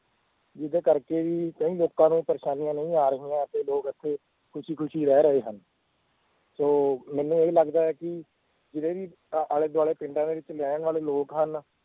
ਜਿਹਦੇ ਕਰਕੇ ਵੀ ਕਈ ਲੋਕਾਂ ਨੂੰ ਪਰੇਸਾਨੀਆਂ ਨਹੀਂ ਆ ਰਹੀਆਂ ਤੇ ਲੋਕ ਇੱਥੇ ਖ਼ੁਸ਼ੀ ਖ਼ੁਸ਼ੀ ਰਹਿ ਰਹੇ ਹਨ ਸੋ ਮੈਨੂੰ ਇਹ ਲੱਗਦਾ ਹੈ ਕਿ ਜਿਹੜੀ ਅ~ ਆਲੇ ਦੁਆਲੇ ਪਿੰਡਾਂ ਦੇ ਵਿੱਚ ਰਹਿਣ ਵਾਲੇ ਲੋਕ ਹਨ